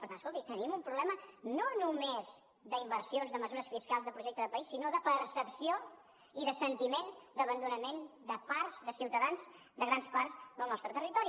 per tant escolti tenim un problema no només d’inversions de mesures fiscals de projecte de país sinó de percepció i de sentiment d’abandonament de part de ciutadans de grans parts del nostre territori